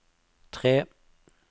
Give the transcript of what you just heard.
tre